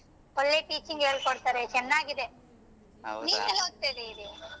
ಒಳ್ಳೆ teaching ಹೇಳ್ಕೊಡ್ತಾರೆ ಚೆನ್ನಾಗಿದೆ ನೀನ್ ಎಲ್ಲ್ ಓದ್ತಾ .